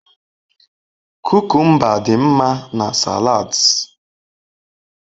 Kukumba dị mma na salads.